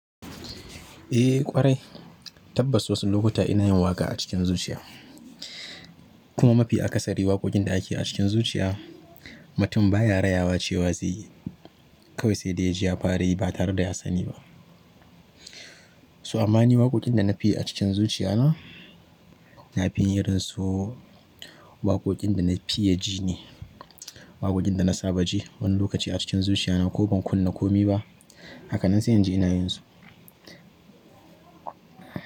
Eh ƙwarai, tabbas wasu lokuta ina yin waƙa a cikin zuciya. Kuma mafi akasari waƙoƙin da akeyi a cikin zuciya, mutum baya rayawa cewa zai yi. Kawai sai da ya ji ya fara yi ba tareda ya sani ba. Toh amma ni waƙoƙin da nafi yi a cikin zuciya na, nafi yin irin su waƙoƙin da na fiye ji ne. Waƙoƙin da na saba ji, wani lokaci a cikin zuciya na ko ban kunna komi ba. Hakanan sai in ji ina yin su.